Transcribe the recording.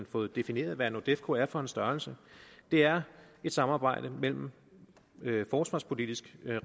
fået defineret hvad nordefco er for en størrelse det er et samarbejde mellem forsvarspolitisk